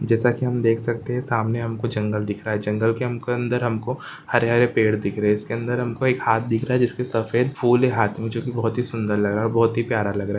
जैसा की हम देख सकते सामने हमको जंगल दिख रहा जंगल के हमको अंदर हमको हरे हरे पेड़ दिख रहे इसके अंदर हमको एक हाथ दिख रहा जिसके सफ़ेद फूल है हाथ मे जो की बहुत ही सुंदर लग रहा बहुत ही प्यारा लग रहा --